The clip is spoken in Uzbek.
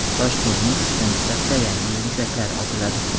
Toshkentning uchta nuqtasida Yangi yil mushaklari otiladi.